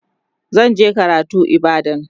zan je karatu ibadan